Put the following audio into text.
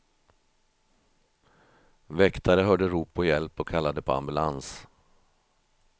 Väktare hörde rop på hjälp och kallade på ambulans.